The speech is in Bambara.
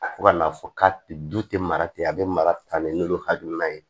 Fo ka n'a fɔ k'a tɛ du tɛ mara ten a bɛ mara ta ni n'olu hakilina ye